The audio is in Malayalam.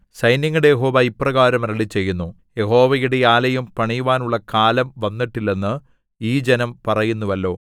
സൈന്യങ്ങളുടെ യഹോവ ഇപ്രകാരം അരുളിച്ചെയ്യുന്നു യഹോവയുടെ ആലയം പണിയുവാനുള്ള കാലം വന്നിട്ടില്ലെന്ന് ഈ ജനം പറയുന്നുവല്ലോ